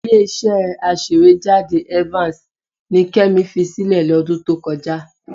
Ilé-iṣẹ́ aṣèwéjádé Evans ni Kẹ́mi fi sílẹ̀ lọ́dún tó kọjá.